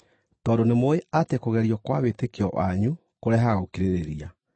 tondũ nĩmũũĩ atĩ kũgerio kwa wĩtĩkio wanyu kũrehaga gũkirĩrĩria.